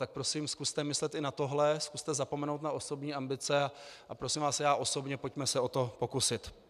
Tak prosím zkuste myslet i na tohle, zkuste zapomenout na osobní ambice a prosím vás já osobně, pojďme se o to pokusit.